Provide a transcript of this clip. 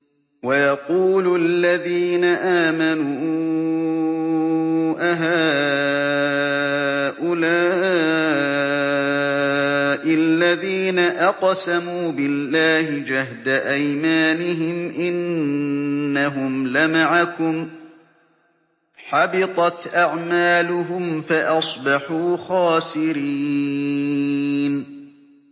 وَيَقُولُ الَّذِينَ آمَنُوا أَهَٰؤُلَاءِ الَّذِينَ أَقْسَمُوا بِاللَّهِ جَهْدَ أَيْمَانِهِمْ ۙ إِنَّهُمْ لَمَعَكُمْ ۚ حَبِطَتْ أَعْمَالُهُمْ فَأَصْبَحُوا خَاسِرِينَ